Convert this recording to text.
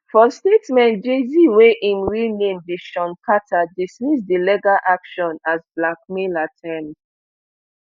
for statement jayz wey im real name be shawn carter dismiss di legal action as blackmail attempt